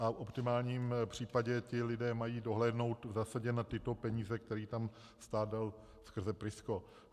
A v optimálním případě ti lidé mají dohlédnout v zásadě na tyto peníze, které tam stát dal skrze PRISCO.